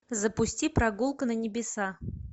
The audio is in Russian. запусти прогулка на небеса